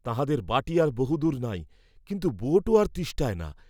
তাঁহাদের বাটী আর বহুদূর নাই, কিন্তু বোটও আর তিষ্ঠায় না।